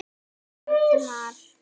sagði arnar.